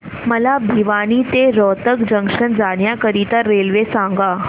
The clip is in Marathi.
मला भिवानी ते रोहतक जंक्शन जाण्या करीता रेल्वे सांगा